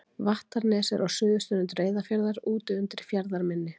vattarnes er á suðurströnd reyðarfjarðar úti undir fjarðarmynni